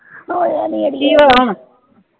ਕਿ ਹੋਇਆ ਹੁਣ?